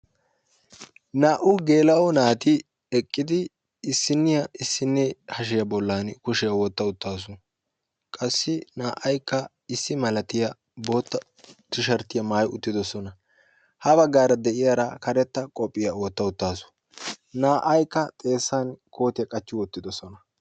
naa''u gela'o naati eqqidi issiniyaa issinee bolli hashsiyaa qassi na'aykka issi malatiyaa bootta tisherttiya maayya uttaasu kushiyaa wotta uttaasu; ha baggara de'iyaara karetta koppiyyiya wotta qassi na'aykka xeessan kootiyaa qachchi wottidoosona;